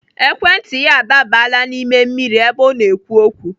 Ekwentị ya adaabala n'ime mmiri ebe ọ na-ekwu okwu.